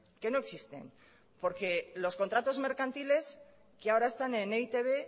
que no existen porque los contratos mercantiles que ahora están en e i te be